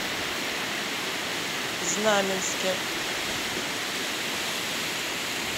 знаменске